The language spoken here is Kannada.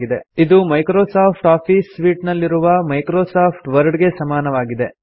000027 000026 ಇದು ಮೈಕ್ರೋಸಾಫ್ಟ್ ಆಫೀಸ್ ಸೂಟ್ ನಲ್ಲಿನ ಮೈಕ್ರೋಸಾಫ್ಟ್ ವರ್ಡ್ ಗೆ ಸಮನಾಗಿದೆ